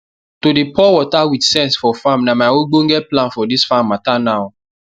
to dey pour water with sense for my farm na my ogbonge plan for dis farm mata now